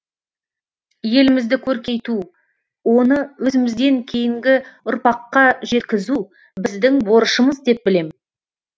елімізді көркейту оны өзімізден кейінгі ұрпаққа жеткізу біздің борышымыз деп білем